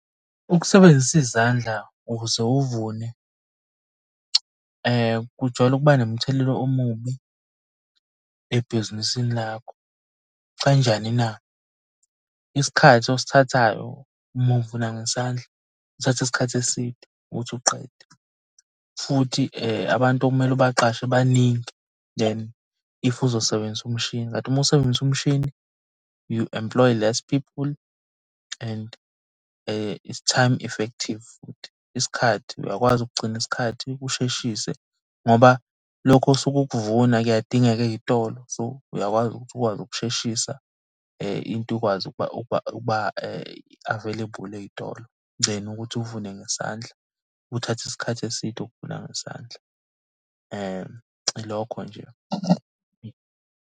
Ukusebenzisa izandla ukuze uvune kujwayele ukuba nomthelelo omubi ebhizinisini lakho, kanjani na? Isikhathi osithathayo uma uvuna ngesandla, kuthatha isikhathi eside ukuthi uqede, futhi abantu okumele ubaqashe baningi then if uzosebenzisa umshini. Kanti uma usebenzisa umshini, you employ less people and its time effective futhi. Isikhathi, uyakwazi ukugcina isikhathi usheshise ngoba lokho osuke ukuvuna kuyadingeka ey'tolo. So uyakwazi ukuthi ukwazi ukusheshisa into ukwazi ukuba available ey'tolo then ukuthi uvune ngesandla, kuthatha isikhathi eside ukuvuna ngesandla, ilokho nje.